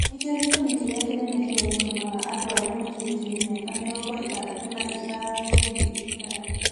Nĩkĩo gĩtũmi kĩrĩa kĩnene kĩrĩa gĩtũmaga andũ arĩa makĩrĩtie mĩaka mĩrongo ĩtandatũ na ithano gũthiĩ thibitarĩ.